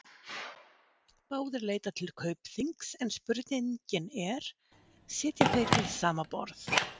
Báðir leita til Kaupþings en spurningin er, sitja þeir við sama borð?